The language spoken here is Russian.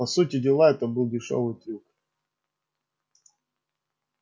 по сути дела это был дешёвый трюк